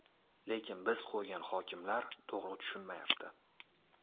Lekin biz qo‘ygan hokimlar to‘g‘ri tushunmayapti.